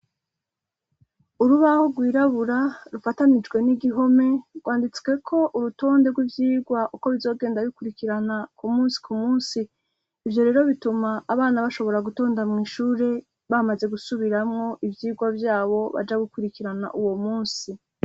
Urubaho rwirabura rufatanijwe n'igihome ,gwanditsweko urutonde rw'ivyigwa uko bizogenda bikurikirana ku munsi ku munsi ,ivyo rero bituma abana bashobora gutonda mw’ishure bamaze gusubiramwo ivyigwa vyabo baja gukurikirana uwo munsi